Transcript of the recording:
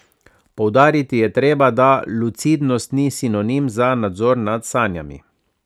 Poudariti je treba, da lucidnost ni sinonim za nadzor nad sanjami.